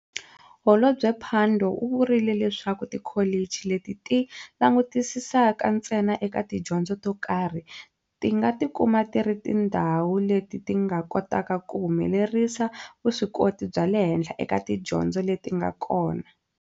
Holobye Pandor u vurile leswaku tikholichi leti ti langutisisaka ntsena eka tidyondzo tokarhi, ti nga ti kuma ti ri tindhawu leti ti nga kotaka ku humelerisa vuswikoti bya le henhla eka tidyondzo leti nga kona.